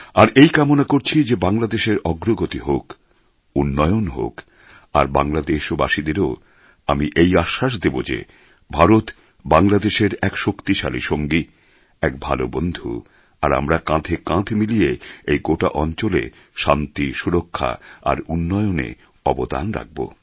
আর এই কামনা করছি যে বাংলাদেশের অগ্রগতি হোক উন্নয়ন হোক আর বাংলাদেশবাসীদেরও আমি এই আশ্বাস দেব যে ভারত বাংলাদেশের এক শক্তিশালী সঙ্গী এক ভালো বন্ধু আর আমরা কাঁধে কাঁধ মিলিয়ে এই গোটা অঞ্চলে শান্তি সুরক্ষা আর উন্নয়নে অবদান রাখব